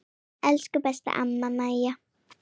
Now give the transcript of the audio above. Elsku besta amma Maja.